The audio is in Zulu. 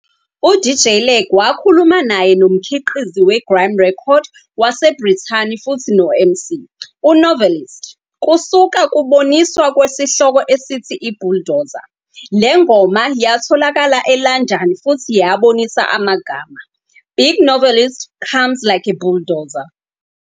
U-DJ Lag wakhuluma naye nomkhiqizi we-grime record waseBrithani futhi no-MC, u-Novelist, kusuka kuboniswa kwesihloko esithi "I-"Bulldozer". Le ngoma yayatholakala eLondon futhi yabonisa amagama, "Big Novelist comes like a bulldozer.